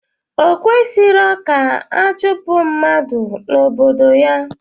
Okwesirọ ka achupu mmadu na obodo ya